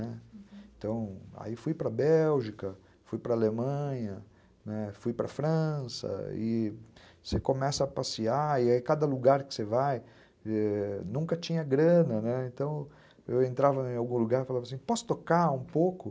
Então, aí fui para a Bélgica, fui para a Alemanha, fui para a França, e você começa a passear, e aí cada lugar que você vai, ãh, nunca tinha grana, então eu entrava em algum lugar e falava assim, posso tocar um pouco?